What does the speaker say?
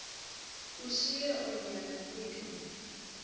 ushiye oonyana neentombi